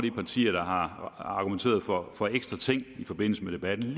er partier der har argumenteret for for ekstra ting i forbindelse med debatten